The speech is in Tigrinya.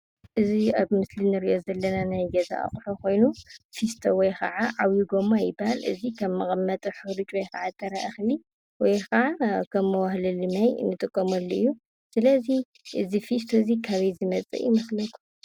እዚ ኣብ ምስሊ ንርኦ ዘለና ናይ ገዛ ኣቑሑ ኮይኑ ፊስቶ ወይ ከዓ ዓብይ ጎማ ይበሃል። እዚ ከም መቀመጥ ሕሩጭ ወይ ከዓ ጥረ እኽሊ ወይ ከዓ መውህለሊ ማይ ንጥቀመሉ እዩ። ስለዚ እዚ ፍስቶ እዚ ካበይ ዝመፀ እዩ?